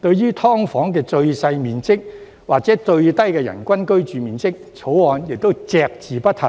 對於"劏房"的最小面積或最低人均居住面積，《條例草案》亦隻字不提，